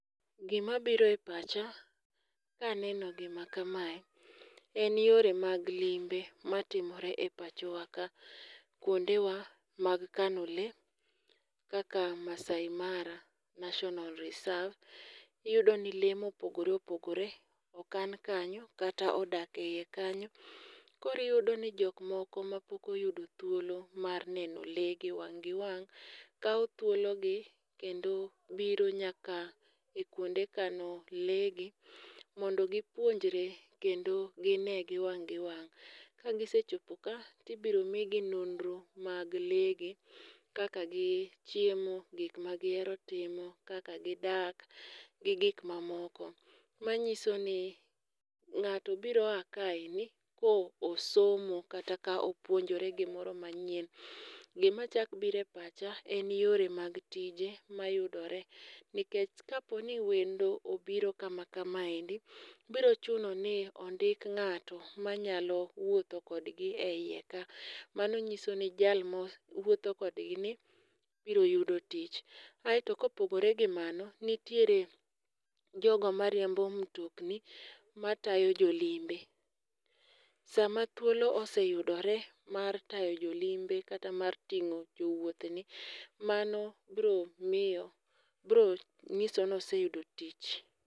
Gi mabiro e pacha, ka aneno gima kamae, en yore mag limbe matimore e pacho wa ka. Kuonde wa mag kano lee, kaka Maasai Mara National Reserve, iyudo ni lee mopogore opogore okan kanyo, kata odak eiye kanyo. Koro iyudo ni jok moko mapok oyudo thuolo mar neno lee gi wang' gi wang', kawo thuologi, kendo biro nyaka e kwonde kano leegi, mondo gipuonjre kendo ginegi wang' giwang'. Ka gisechopo ka, tibiro migi nonro mag lee gi, kaka gichiemo gikmagihero timo kaka gidak, gi gik mamoko. Manyiso ni ng'ato biro a kaendi ko osomo kata ka opuonjore gimoro manyien. Gi machak biro e pacha en yore mag tije ma yudore. Nikech ka po ni wendo obiro kama kamaendi, biro chuno ni ondik ng'ato manyalo wuotho kod gi eyieka. Mano nyiso ni jalmo wuotho kod gini, biro yudo tich. Aeto kopogore gi mano, nitiere jogo mar riembo mtokni matayo jolimbe. Sama thuolo oseyudore mar tayo jolimbe kata mar tingo jowuoth ni, mano biro miyo, biro nyiso ni oseiyudo tich.